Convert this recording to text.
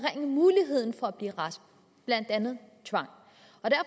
at blive rask blandt andet tvang